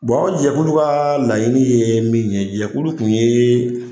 o jɛkulu ka laɲinin ye min ye, jɛkulu kun ye.